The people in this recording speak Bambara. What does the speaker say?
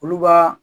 Olu b'a